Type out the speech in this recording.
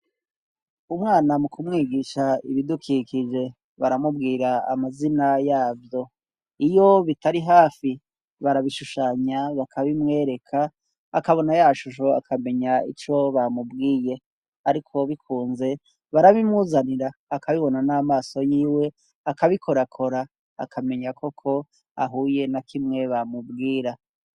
Umwana mukumwigisha ibidukikije baramubwira amazina yavyo iyo bitari hafi barabishushanya bakabimwereka akabona yashusho akamenya ico bamubwiye. Ariko bikunze barabimuzanira akabibona n'amaso yiwe akabikorakora akamenya koko ahuye na kimwe bamubwira.